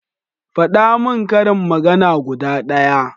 Faɗa min karin magana guda ɗaya